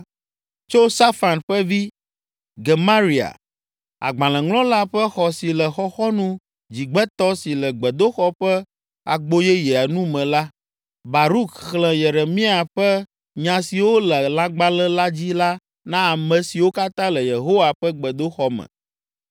Tso Safan ƒe vi, Gemaria, agbalẽŋlɔla ƒe xɔ si le xɔxɔnu dzigbetɔ si le gbedoxɔ ƒe Agboyeyea nu me la, Baruk xlẽ Yeremia ƒe nya siwo le lãgbalẽ la dzi la na ame siwo katã le Yehowa ƒe gbedoxɔ me.